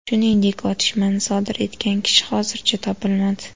Shuningdek, otishmani sodir etgan kishi hozircha topilmadi.